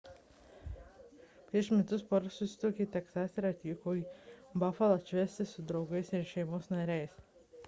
prieš metus pora susituokė teksase ir atvyko į bafalą atšvęsti su draugais ir šeimos nariais